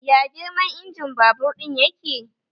Ya girman injimin babur ɗin yake?